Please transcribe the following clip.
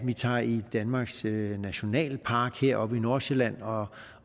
vi tager i danmarks nationalpark heroppe i nordsjælland og